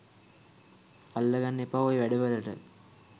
අල්ලගන්න එපා ඔය වැඩ වලට